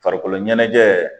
Farikolo ɲɛnajɛ